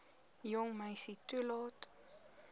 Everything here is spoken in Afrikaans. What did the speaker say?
jong meisie toelaat